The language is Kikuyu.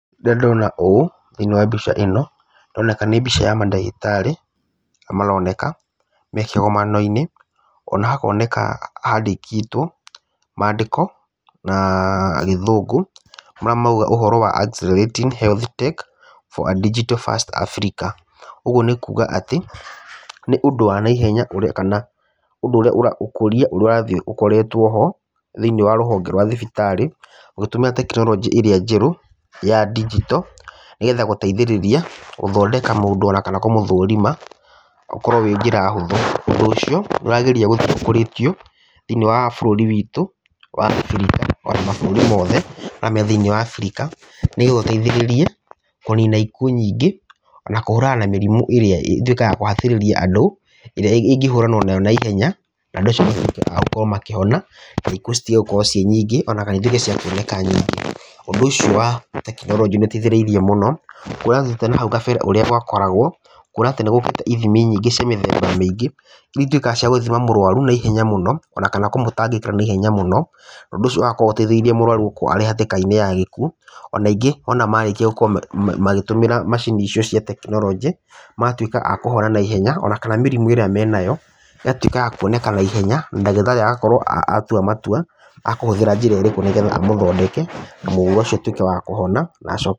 Rĩrĩa ndona ũũ thĩiniĩ wa mbica ĩno, ĩroneka ta arĩ mbica ya mandagĩtarĩ arĩa maroneka me kĩgomano-inĩ, ona hakoneka handĩkĩtwo mandĩko na gĩthũngũ, marĩa marauga Accelerating Health Tech for a digital first Africa, ũguo nĩ kuga atĩ nĩ ũndũ wa naihenya kana ũkũria ũrĩa ũrathiĩ ũkoretwo ho thĩiniĩ wa rũhonge rwa thibitarĩ, ũgĩtũmĩra tekinoronjĩ ĩrĩa njerũ ya ndigito, gũthondeka mũndũ ona kana kũmũthũrima gũkorwo ĩrĩ njĩra hũthũ. Ũndũ ũcio nĩũrageria gũthiĩ ũkũrĩtio thĩiniĩ wa bũrũri witu wa Abirika, ona mabũrũri mothe marĩa marĩ thĩiniĩ wa Abirika, nĩgetha ũteithĩrĩrie kũnina ikuũ nyingĩ, ona kũhũrana na mĩrimũ ĩrĩa ĩtuĩkaga ya kũhatĩrĩria andũ. ĩrĩa ĩngĩhũranwo nayo na ihenya, na andũ acio matuĩke a kũhona naihenya na ikuũ citige kuoneka ciĩ nyingĩ ona citige cia kuonekana nyingĩ. Ũndũ ũcio wa tekinoronjĩ nĩ ũteithĩtie mũno kũona atĩ, na hau kabere ũrĩa gwakoragwo kuona nĩ gũkĩte ithimi nyingĩ cia mĩthemba mĩingĩ iria ituĩkaga cia gũthima mũrũaru na ihenya mũno ona kũmũtangĩkĩra na ihenya mũno. Ũndũ ũcio ũgakorwo ũteithĩrĩirie mũrwaru gũkorwo arĩ hatĩka-inĩ ya gĩkuũ, ona ingĩ marĩkia gũkorwo magĩtũmĩra macini icio cia tekinoronjĩ magatuĩka a kũhona naihenya, ona kana mĩrimũ ĩrĩa marĩ nayo ĩgatuĩka ya kũonekana na ihenya. Na ndagĩtarĩ agakorwo atua matua akũhũthĩra njĩra ĩrĩkũ, nĩgetha agũthondeke nĩgetha mũrimũ ũcio ũtuĩke wa kũhona, na acoke…